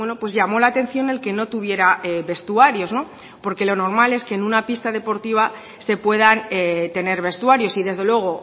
pues llamó la atención el que no tuviera vestuarios porque lo normal es que en una pista deportiva se puedan tener vestuarios y desde luego